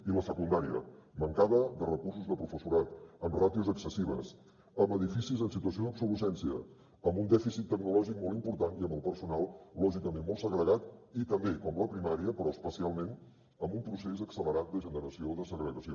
i la secundària mancada de recursos de professorat amb ràtios excessives amb edificis en situació d’obsolescència amb un dèficit tecnològic molt important i amb el personal lògicament molt segregat i també com la primària però especialment en un procés accelerat de generació de segregació